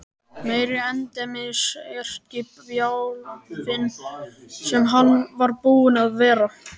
Meiri endemis erkibjálfinn sem hann var búinn að vera!